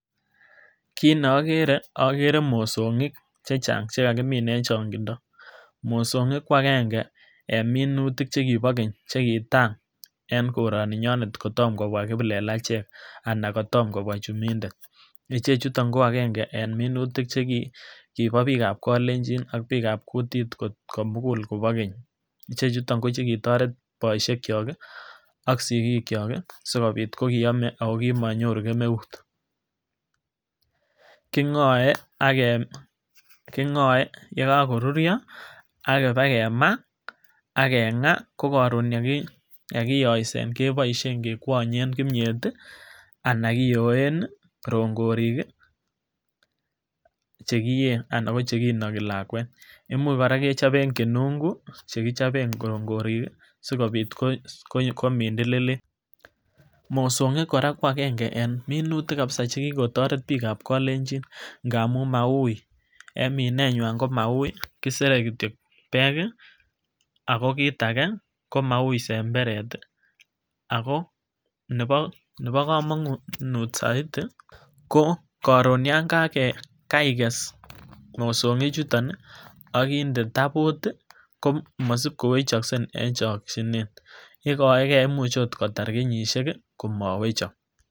kit ne okere, okere mosonik chechang chekakimin en chongindo, mosonik kwakenge en minutik chekibo keny chekitai en koroni nyone kotomo kobwa kiplelechek anan kotomo kobwa chumitet, ichechutok ko agange en minutik chekibo bik ab kolenjin ak bik ab kutitt komugul kobo keny. Ichechutok ko chekitoret boishek kyok kii ak sikikyok kii sikobit ko kiome ako kimonyoruu kemeut, kingoe ak kem, kingoe yekokoruryo ak kebakemaa ak kengaa ko korun yekiyoset keboishen kekwonyen kimiet tii anan kiyoen rongorik kii chekiyee anan ko chekinoki lakwet, imuch koraa kechoben kenungu chekichoben rongorik kii sikobit komindililit. Mosomgik koraa ko agenge en minutik kabisa chekikotoret bik ab kolenin ngamun maui, en mineywan ko maui kisere kityok pek kii ako kit age komau semberet tii ako nebo komonut soiti ko korun yon keiges mosonik chutok ak inde tabot tii ko misib kowechokse en chokinet ikoe gee imuche okot kotar kenyishek kii komowechok.